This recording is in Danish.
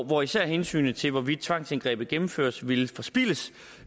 hvor især hensynet til hvorvidt tvangsindgrebet gennemføres ville forspildes